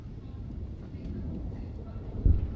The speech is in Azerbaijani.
Yəni böyük miqyasda ildırımlar müşahidə olunur.